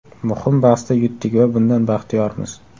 Muhim bahsda yutdik va bundan baxtiyormiz.